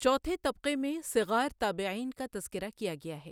چوتھے طبقہ میں صغار تابعین کا تذکرہ کیا گیا ہے۔